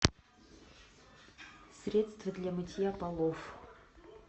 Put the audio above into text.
средство для мытья полов